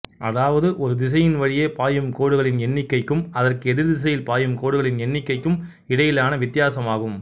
அதாவது ஒரு திசையின் வழியே பாயும் கோடுகளின் எண்ணிக்கைக்கும் அதற்கு எதிர்த் திசையில் பாயும் கோடுகளின் எண்ணிக்கைக்கும் இடையிலான வித்தியாசமாகும்